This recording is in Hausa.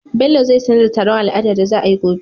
bello zai sanar da taron al'ada da za ayi gobe